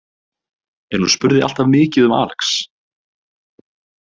En hún spurði alltaf mikið um Alex.